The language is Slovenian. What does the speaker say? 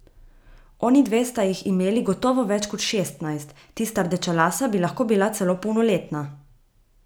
Onidve sta jih imeli gotovo več kot šestnajst, tista rdečelasa bi lahko bila celo polnoletna.